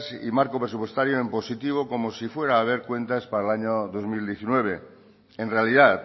y marco presupuestario en positivo como si fuera a haber cuentas para el año dos mil diecinueve en realidad